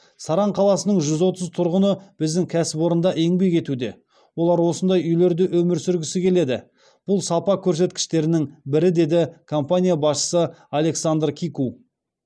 саран қаласының жүз отыз тұрғыны біздің кәсіпорында еңбек етуде олар осындай үйлерде өмір сүргісі келеді бұл сапа көрсеткіштерінің бірі деді компания басшысы александр кику